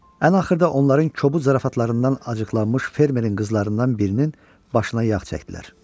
Ən axırda onların kobud zarafatlarından acıqlanmış fermerin qızlarından birinin başına yağ çəkdilər.